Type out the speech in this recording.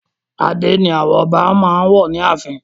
adé ni àwọn ọba wọ ààfin.